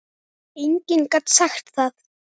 Enginn gat sagt það.